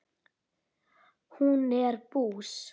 Hún er bús.